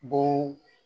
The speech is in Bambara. Bon